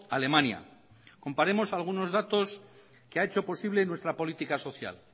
alemania comparemos algunos datos que ha hecho posible nuestra política social